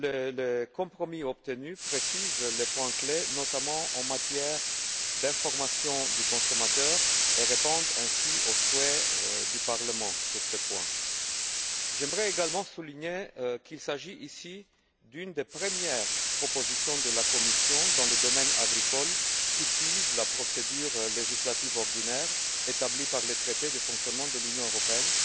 Le compromis obtenu précise les points clés, notamment en matière d'information du consommateur, et répond ainsi aux souhaits du Parlement sur ces points. J'aimerais également souligner qu'il s'agit ici d'une des premières propositions de la Commission dans le domaine agricole qui suit la procédure législative ordinaire établie par le traité sur le fonctionnement de l'Union européenne.